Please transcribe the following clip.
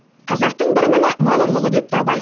қазақтың бір міні мал ұрлығы депті абай